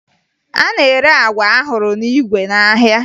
A na-ere agwa ahụrụ n'igwe n'ahịa